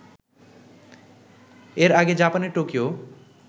এর আগে জাপানের টোকিও